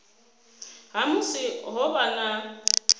ha musi ho vha na